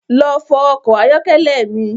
Lọ fọ ọkọ̀ ayọ́kẹ́lẹ́ mi